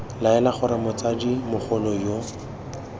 laela gore motsadi mogolo yo